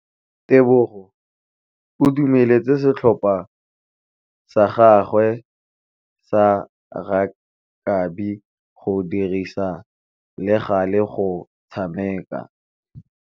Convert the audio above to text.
Tebogô o dumeletse setlhopha sa gagwe sa rakabi go dirisa le galê go tshameka.